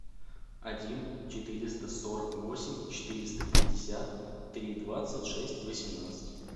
один четыреста сорок восемь четыреста пятьдесят три двадцать шесть восемнадцать